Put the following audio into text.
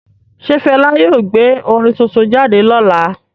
Ṣe Fẹla yóò gbé orin tuntun jáde lọla?